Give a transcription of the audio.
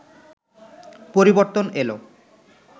পরিবর্তন এলো